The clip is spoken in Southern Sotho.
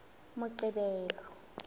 moqebelo